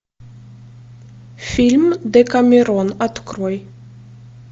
фильм декамерон открой